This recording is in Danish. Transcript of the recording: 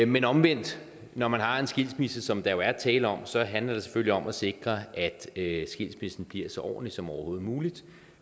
men omvendt når man har en skilsmisse som der jo er tale om så handler det selvfølgelig om at sikre at skilsmissen bliver så ordentlig som overhovedet muligt